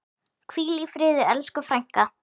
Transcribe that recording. Hvíl í friði elsku frænka.